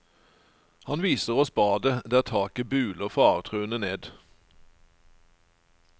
Han viser oss badet, der taket buler faretruende ned.